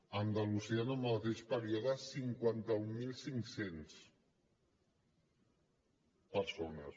a andalusia en el mateix període cinquanta mil cinc cents persones